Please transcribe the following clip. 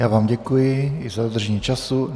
Já vám děkuji i za dodržení času.